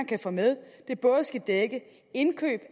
kan få med både skal dække indkøb af